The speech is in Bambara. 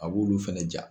A b'olu fɛnɛ ja